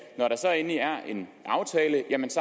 når der så endelig er en aftale